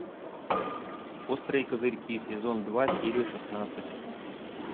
острые козырьки сезон два серия шестнадцать